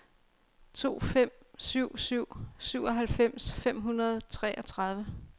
to fem syv syv syvoghalvfems fem hundrede og treogtredive